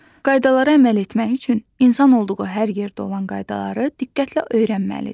Qaydalara əməl etmək üçün insan olduğu hər yerdə olan qaydaları diqqətlə öyrənməlidir.